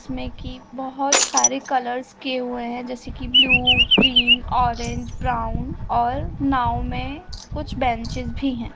इसमें की बोहोत सारे कलर्स किए हुए हैं जैसे कि ब्लू ग्रीन ऑरेंज ब्राउन और नाव में कुछ बेंचेस भी हैं।